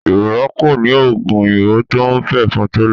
Yorùba kò ní oògùn òyìnbó tó ń pẹ̀fọn tẹ́lẹ̀